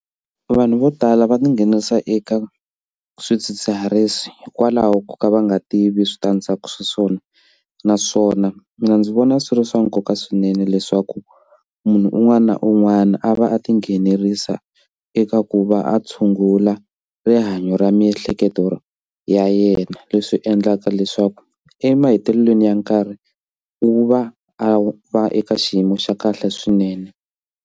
Vanhu vo tala va tinghenelerisa eka swidzidziharisi hikwalaho ko ka va nga tivi switandzhaku swa swona naswona mina ndzi vona swi ri swa nkoka swinene leswaku munhu un'wana na un'wana a va a tinghenelerisa eka ku va a tshungula rihanyo ra miehleketo ya yena leswi endlaka leswaku emahetelelweni ya nkarhi wu va a va eka xiyimo xa kahle swinene.